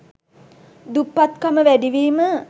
දුප්පත්කම වැඩිවීම